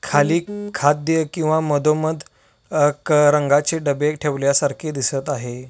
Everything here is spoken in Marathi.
खाली खाद्य किंवा मधोमध आ क रंगाचे डबे ठेवल्या सारखे दिसत आहे.